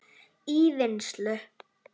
í vinnslu